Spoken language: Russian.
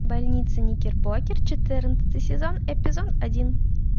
больница никербокер четырнадцатый сезон эпизод один